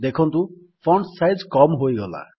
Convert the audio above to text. ଦେଖନ୍ତୁ font size କମ୍ ହୋଇଗଲା